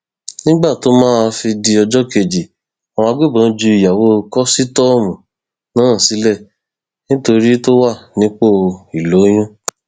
nígbà tó máa fi di ọjọ kejì àwọn agbébọn ju ìyàwó kọsítọọmù náà sílẹ nítorí tó wà nípò ìlóyún